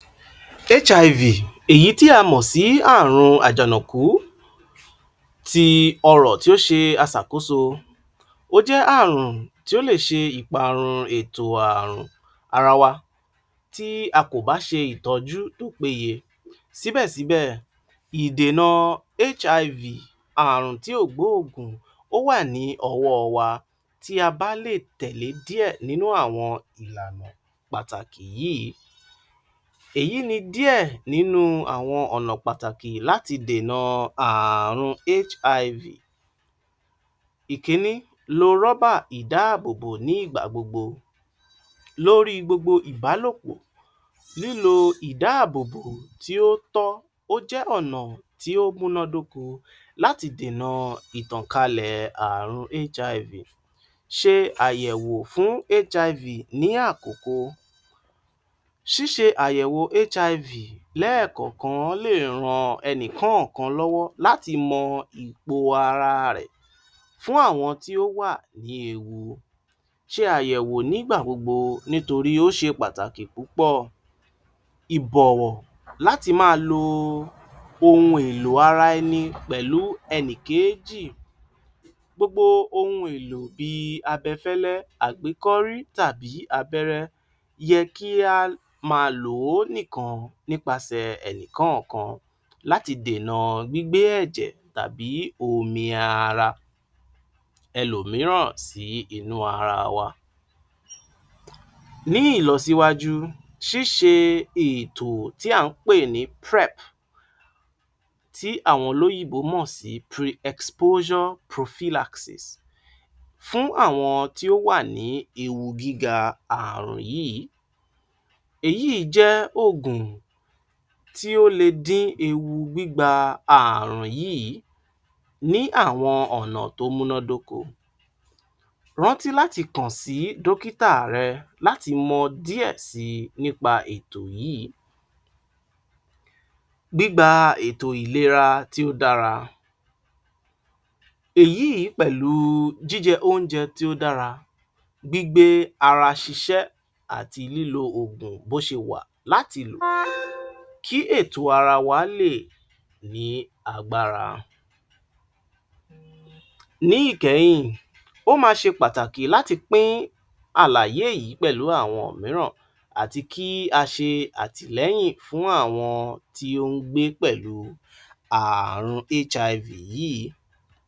HIV èyí tí a mọ̀ sí àrun àjànàkú ti ọrọ̀ tí ó ṣe aṣàkóso ó jẹ́ àrùn tí ó lè ṣe ìparun ètò àrùn ara wa tí a kò bá ṣe ìtọ́jú tó péye síbẹ̀síbẹ̀ ìdènà HIV àrùn tí ò gbó òògùn ó wà ní ọwọ́ wa. Tí a bá lè tẹ̀lẹ̀ díẹ̀ nínú àwọn ìlànà pàtàkì yìí èyí ni díẹ̀ nínú àwọn ọ̀nà pàtàkì láti dènà àrun HIV. Ìkíní, lo rọ́bà ìdá à bòbò ní ìgbà gbogbo lórí gbogbo ìbálòpọ̀ lílo ìdà à bòbò tí ó ti tọ́ ó jẹ́ ọ̀nà tí ó múná dóko láti dènà ìtànkálẹ̀ àrùn HIV ṣe àyẹ̀wò fún HIV ní àkòko, ṣíṣe àyẹ̀wò HIV lẹ ẹ̀ kọ̀kan lè ran ẹnìkọ́kan lọ́wọ́ láti mọ ipò ara rẹ̀ fún àwọn tí ó wà ní ewu. Ṣe àyẹ̀wò ní gbà gbogbo nítorí ó ṣe pàtàkì púpọ̀ ìbọ̀wọ̀ láti má a lo ohun elo ara ẹni pẹlú ẹnìkejì gbogbo ohun èlò bíi abẹ fẹ́lẹ́ àgbékọ́rí tàbí abẹ́rẹ́ yẹ kí a má a lò ó nìkan nípasẹ̀ ení kọ́ọ̀kan láti dènà gbígbé ẹ̀jẹ̀ tàbí omi ara ẹlò míràn sí inú ara wa. Ní ní ìlọsíwájú ṣíṣe ètò tí à ń pè ní PrEP tí àwọn olóyìnbó mò pre-exposure Prophylaxis fún àwọn tí ó wà ní ewu gíga àrùn yìí. Èyí jẹ́ ògùn tí ó le dín gbígbà àrùn yìí ní àwọn ọ̀nà tó múná dóko rántí láti kàn sí dókítà rẹ láti mọ díẹ̀ si ní pa ètò yìí, gbígba ètò ìlera tí ó dára èyí pẹ̀lú jíjẹ oúnjẹ tí ó dára gbígbé ara ṣiṣẹ́ àti lílo ògùn bó sẹ wà láti lò kí ètò ara wa lè ní agbára. Ní ìkẹ́yìn ó ma ṣe pàtàkì láti pín àlàyé yìí pẹ̀lú àwọn míràn àti kí a ṣe àtìlẹ́yìn fún àwọn tí ó ń gbé pẹ̀lú àààrùn HIV yìí.